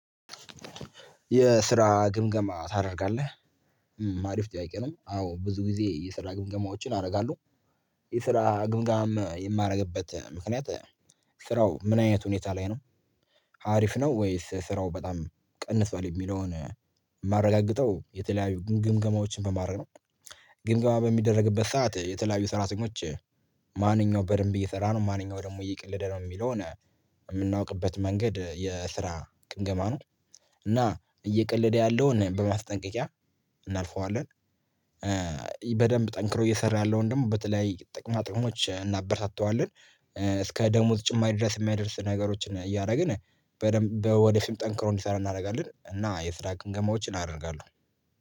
የስራ ግምገማ ታደርጋለህ? አሪፍ ጥያቄ ነው። አዎ ብዙ ጊዜ የስራ ግምገማዎችን አደርጋለሁ። የስራ ግምገማም የማደርግበት ምክንያት ስራው ምን አይነት ሁኔታ ላይ ነው? አሪፍ ነው ወይስ ስራው በጣም ቀንሷል? የሚለውን የማረጋግጠው የተለያዩ ግምገማዎችን በማረግ ነው ግምገማ በሚደረግበት ሰዓት የተለያዩ ሰራተኞች ማንኛው በደንብ እየሰራ ነው ማንኛው ደግሞ እየቀለደ ነው የሚለው የምናውቅበት መንገድ የስራ ግምገማ ነው እና እየቀለደ ያለውን በማስጠንቀቂያ እናልፈዋለን። በደንብ ጠንክሮ እየሰራ ያለውን ደግሞ በተለይ ጥቅሞች እናበረታታዋለን እስከ ደሞዝ ጭማሪ ድረስ የሚያደርስ ነገሮችን እያደረግን በደንብ ወደ ፊት ጠንክሮ እንዲሰራ እናደርጋለን እና የስራ ግምገማዎችን አደርጋለሁ።